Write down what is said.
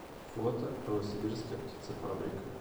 фото новосибирская птицефабрика